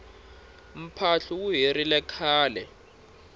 mphahlu wu herile khale